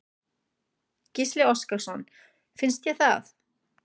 Gísli Óskarsson: Finnst þér það?